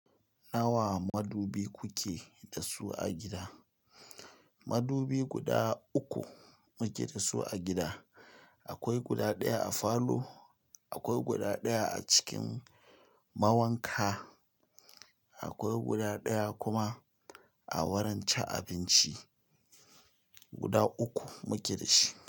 Nawa madubi kuke da su a gida? Madubi guda uku muke da su a gida. Akwai guda ɗaya a falo, akwai guda ɗaya a cikin mawanka, akwai guda ɗaya kuma a wurin cin abinci. Guda uku muke da shi.